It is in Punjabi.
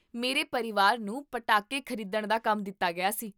ਮੇਰੇ ਪਰਿਵਾਰ ਨੂੰ ਪਟਾਕੇ ਖ਼ਰੀਦਣ ਦਾ ਕੰਮ ਦਿੱਤਾ ਗਿਆ ਸੀ